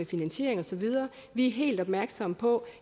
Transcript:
finansiering og så videre vi er helt opmærksomme på